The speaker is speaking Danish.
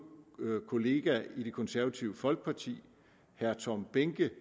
kollega i det konservative folkeparti herre tom behnke